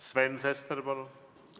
Sven Sester, palun!